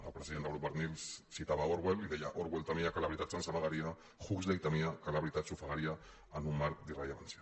el president del grup barnils citava orwell i deia orwell temia que la veritat se’ns amagaria huxley temia que la veritat s’ofegaria en un mar d’irrellevància